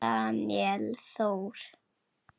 Daníel Þór.